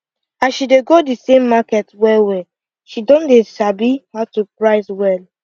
as she dey go the same market well well she don dey sabi how to price well